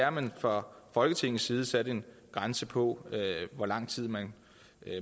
at man fra folketingets side sætter en grænse på hvor lang tid man